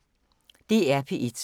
DR P1